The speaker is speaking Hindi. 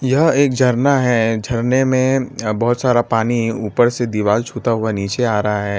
यह एक झरना है झरने में अ बहोत सारा पानी ऊपर से दीवाल छूता हुआ नीचे आ रहा है।